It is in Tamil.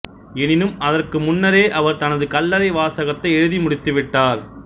எனினும் அதற்கு முன்னரே அவர் தனது கல்லறை வாசகத்தை எழுதி முடித்துவிட்டார்